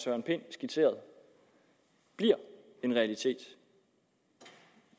søren pind skitserede bliver en realitet